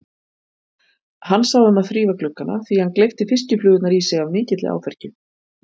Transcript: Hann sá um að þrífa gluggana því hann gleypti fiskiflugurnar í sig af mikilli áfergju.